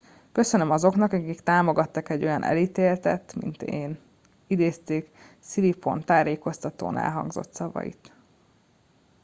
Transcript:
köszönöm azoknak akik támogattak egy olyan elítéltet mint én - idézték siriporn sajtótájékoztatón elhangzott szavait